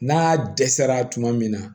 N'a dɛsɛra tuma min na